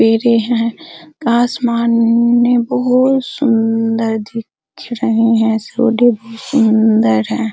पेड़े हैं आसमान में बहुत सुंदर दिख रहे हैं भी सुन्दर हैं |